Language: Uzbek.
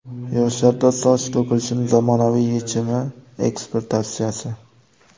Yoshlarda soch to‘kilishining zamonaviy yechimi ekspert tavsiyasi.